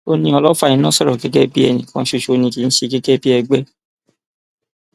ó ní ọlọfà iná sọrọ gẹgẹ bíi ẹnì kan ṣoṣo ni kì í ṣe gẹgẹ bíi ẹgbẹ